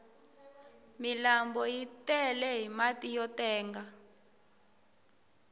milanbu yi tele hi mati yo tenga